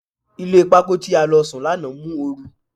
Ilé pákó tí a lọ sùn lánàá mú oru.